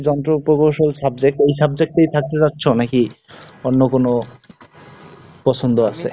যন্ত্র প্রকৌশল subject, ওই subject এই থাকতে চাচ্ছ নাকি? অন্য কোন, পছন্দ আছে।